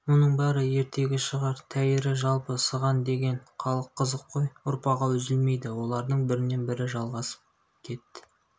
бұның бәрі ертегі шығар тәйірі жалпы сыған деген халық қызық қой ұрпағы үзілмейді олардың бірінен бірі жалғасып кет